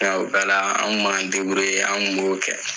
Nka o bɛɛ la an kun b'an an kun b'o kɛ.